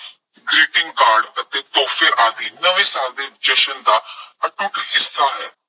greeting card ਅਤੇ ਤੋਹਫੇ ਆਦਿ ਨਵੇਂ ਸਾਲ ਦੇ ਜਸ਼ਨ ਦਾ ਅਟੁੱਟ ਹਿੱਸਾ ਹੈ।